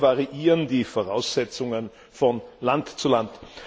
Zu sehr variieren die Voraussetzungen von Land zu Land.